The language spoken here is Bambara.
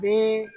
Bi